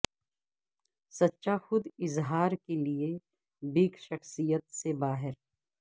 سچا خود اظہار کے لئے بگ شخصیت سے باہر